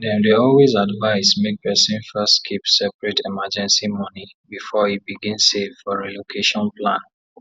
dem dey always advise make person first keep separate emergency money before e begin save for relocation plan